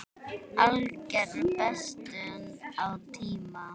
Alger bestun á tíma.